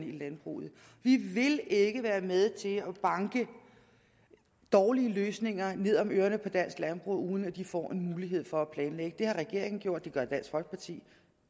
i landbruget vi vil ikke være med til at banke dårlige løsninger ned om ørerne på dansk landbrug uden at de får en mulighed for at planlægge det har regeringen gjort det gør dansk folkeparti